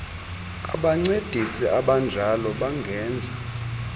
abancedisi abanjalo bangenza